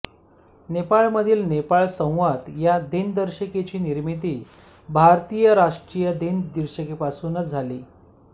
नेपाळमधील नेपाळ संवत या दिनदर्शिकेची निर्मिती भारतीय राष्ट्रीय दिनदर्शिकेपासूनच झाली